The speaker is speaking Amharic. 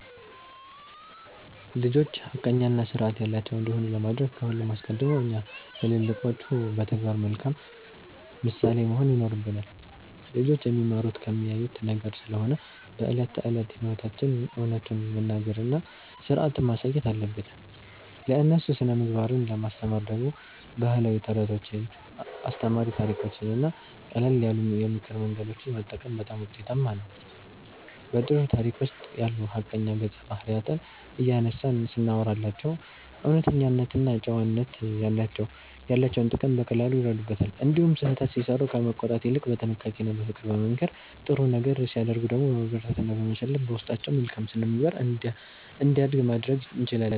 ልጆች ሐቀኛና ሥርዓት ያላቸው እንዲሆኑ ለማድረግ ከሁሉ አስቀድሞ እኛ ትልልቆቹ በተግባር መልካም ምሳሌ መሆን ይኖርብናል። ልጆች የሚማሩት ከሚያዩት ነገር ስለሆነ በዕለት ተዕለት ሕይወታችን እውነቱን መናገርና ሥርዓትን ማሳየት አለብን። ለእነሱ ሥነ-ምግባርን ለማስተማር ደግሞ ባህላዊ ተረቶችን፣ አስተማሪ ታሪኮችንና ቀለል ያሉ የምክር መንገዶችን መጠቀም በጣም ውጤታማ ነው። በጥሩ ታሪክ ውስጥ ያሉ ሐቀኛ ገጸ-ባህሪያትን እያነሳን ስናወራላቸው እውነተኝነትና ጨዋነት ያላቸውን ጥቅም በቀላሉ ይረዱታል። እንዲሁም ስህተት ሲሠሩ ከመቆጣት ይልቅ በጥንቃቄና በፍቅር በመምከር፣ ጥሩ ነገር ሲያደርጉ ደግሞ በማበረታታትና በመሸለም በውስጣቸው መልካም ሥነ-ምግባር እንዲያድግ ማድረግ እንችላለን።